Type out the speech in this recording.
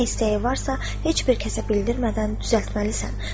Nə istəyi varsa, heç bir kəsə bildirmədən düzəltməlisən.